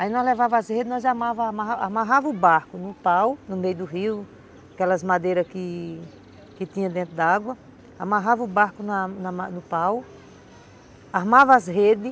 Aí nós levava as redes, nós amarrava o barco no pau, no meio do rio, aquelas madeiras que tinha dentro d'água, amarrava o barco na na ma no pau, armava as redes,